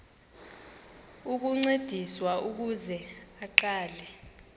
ukuncediswa ukuze aqale